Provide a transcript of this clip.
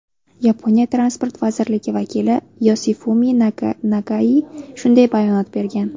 Yaponiya transport vazirligi vakili Yosifumi Nagai shunday bayonot bergan.